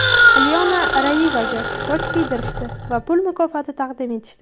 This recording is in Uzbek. Alyona Rayevaga toj kiydirishdi va pul mukofoti taqdim etishdi.